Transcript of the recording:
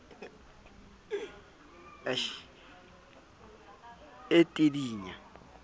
e tidinya ha engwa ka